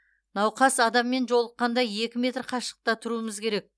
науқас адаммен жолыққанда екі метр қашықта тұруымыз керек